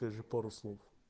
даже пару слов